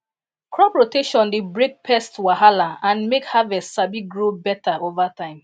crop rotation dey break pest wahala and make harvest sabi grow better over time